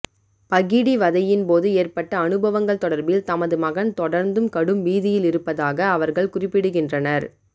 பகிடிவதையின்போது ஏற்பட்ட அனுபவங்கள் தொடர்பில் தமது மகன் தொடர்ந்தும் கடும் பீதியில் இருப்பதாக அவர்கள் குறிப்பிடுகிறனர்